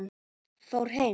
Fór heim?